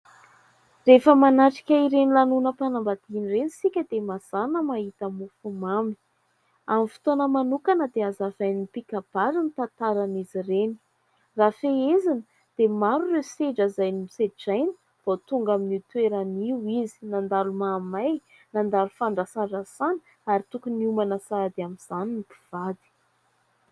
Rehefa manatrika ireny lanonam-panambadiana ireny isika dia mazàna mahita mofomamy. Amin'ny fotoana manokana dia hazavain'ny mpikabary ny tantaran'izy ireny. Raha fehezina dia maro ireo sedra izay nosedrainy vao tonga amin'io toerana io izy, nandalo mahamay, nandalo fandrasàrasàna ary tokony hiomana sahady amin'izany ny mpivady.